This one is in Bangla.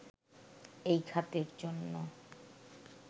এই খাতের জন্য